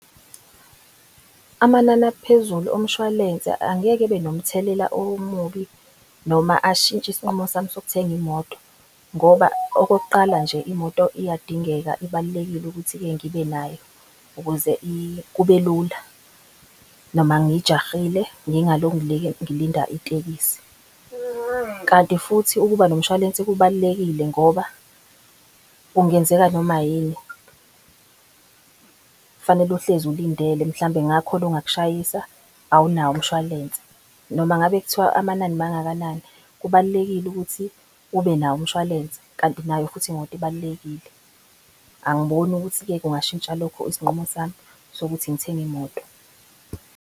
Amanani aphezulu omshwalense angeke abe nomthelela omubi noma ashintshe isinqumo sami sokuthenga imoto. Ngoba okokuqala nje imoto iyadingeka ibalulekile ukuthi-ke ngibe nayo ukuze kube lula noma ngijahile ngingalokhu ngilinda itekisi. Kanti futhi ukuba nomshwalense kubalulekile ngoba kungenzeka noma yini. Kufanele uhlezi ulindele mhlambe kungakhona ongakushayisa awunawo umshwalense. Noma ngabe kuthiwa amanani mangakanani. kubalulekile ukuthi ube nawo umshwalense kanti nayo futhi imoto ibalulekile. Angiboni ukuthi-ke kungashintsha lokho isinqumo sami sokuthi ngithenge imoto.